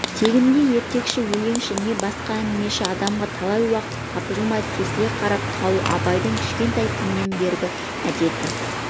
тегінде ертекші өлеңші не басқа әңгімеші адамға талай уақыт тапжылмай тесіле қарап қалу абайдың кішкентай күнінен бергі әдеті